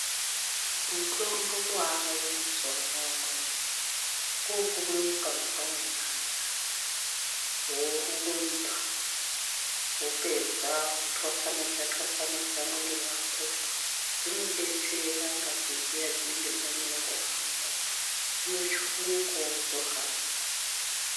Mutombo wavayo mazuva anawa umweni kyri kumuka mangwanani aya worumba vopedza votwasanura muri dzawo zvinodetsera dzunenge dzamera kuhamba dzinotsukunukawo kuhamba.